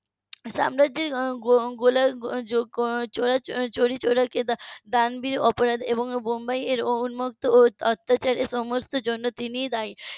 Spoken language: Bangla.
সাম্রাজ্যের চৌরি~ চৌরিচৌরা এবং ডান্ডির অপরাধ এবং বোম্বাই এর উন্মুক্ত অত্যাচারের সমস্ত জন্য তিনি দায়ী